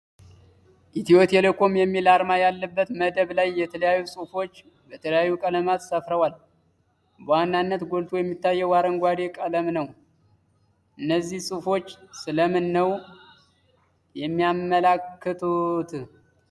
ኢትዮ ቴሌኮም የሚል አርማ ያለበት መደብ ላይ የተለያዩ ጽሁፎች በተለያዩ ቀለማት ሰፍረዋል። በዋናነት ጎልቶ የሚታየው አረንጓዴ ቀለም ነው። እነዚህ ጽሁፎች ስለምን ነው የሚያመላክቱት?